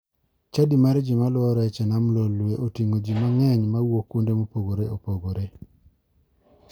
Chadi mar ji maluwo rech e nam lolwe otingo ji ma ng'eny ma wouk kuonde ma opogore opogore.